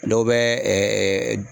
Dɔw bɛ